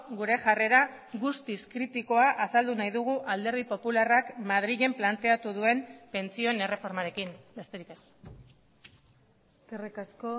gure jarrera guztiz kritikoa azaldu nahi dugu alderdi popularrak madrilen planteatu duen pentsioen erreformarekin besterik ez eskerrik asko